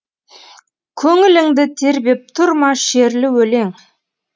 көңіліңді тербеп тұр ма шерлі өлең